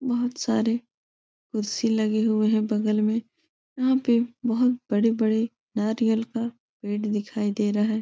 बहोत सारे कुर्सी लगे हुए हैं बगल में यहाँ पे बहोत बड़े बड़े नारियल का पेड़ दिखाई दे रहा है।